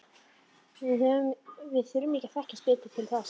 Við þurfum að þekkjast betur til þess.